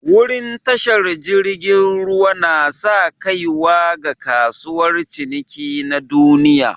Wurin tashar jirigin ruwa na'sa kaiwa ga kasuwar ciniki na duniyya.